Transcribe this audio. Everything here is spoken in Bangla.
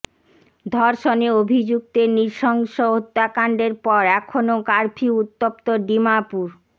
ধর্ষণে অভিযু্ক্তের নৃশংস হত্যাকন্ডের পর এখনও কারফিউ উত্তপ্ত ডিমাপুর